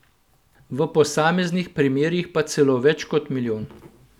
V posameznih primerih pa celo več kot milijon.